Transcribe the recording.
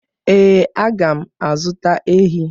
Ee, aga m azụta ehi.